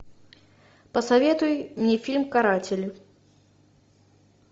посоветуй мне фильм каратели